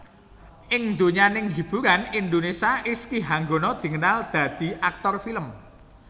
Ing donyaning hiburan Indonesia Rizky Hanggono dikenal dadi aktor film